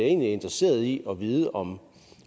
egentlig interesseret i at vide om